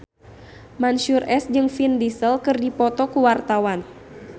Mansyur S jeung Vin Diesel keur dipoto ku wartawan